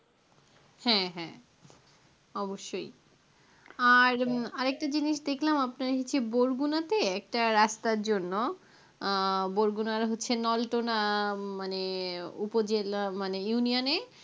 হ্যাঁ হ্যাঁ অবশ্যই আর উম আরেকটা জিনিস দেখলাম আপনাকে কি বলগুনা একটা রাস্তার জন্য আহ বলগুনা মনে হচ্ছে নলটোনা মনে উপজেলা মানে union এ